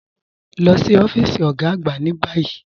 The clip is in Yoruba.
Lọ sí ọfiísì ogá àgbà ni bayí.